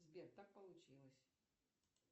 сбер так получилось